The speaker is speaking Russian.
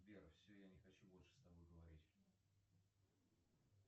сбер все я не хочу больше с тобой говорить